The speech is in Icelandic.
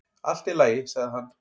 """Allt í lagi, sagði hann."""